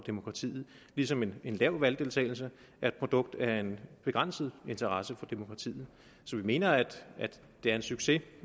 demokratiet ligesom en en lav valgdeltagelse er et produkt af en begrænset interesse for demokratiet så vi mener at det er en succes